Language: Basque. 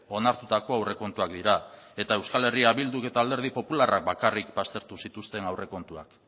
onartutako aurrekontuak dira eta euskal herria bilduk eta alderdi popularrak bakarrik baztertu zituzten aurrekontuak